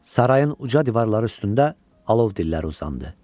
Sarayın uca divarları üstündə alov dilləri uzandı.